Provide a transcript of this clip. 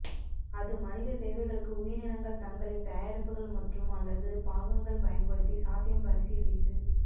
அது மனித தேவைகளுக்கு உயிரினங்கள் தங்களின் தயாரிப்புகள் மற்றும் அல்லது பாகங்கள் பயன்படுத்தி சாத்தியம் பரிசீலித்து